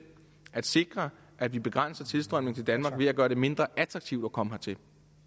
at sikre at vi begrænser tilstrømningen til danmark ved at gøre det mindre attraktivt at komme hertil